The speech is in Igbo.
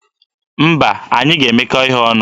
Mba, anyị ga-emekọ ihe ọnụ.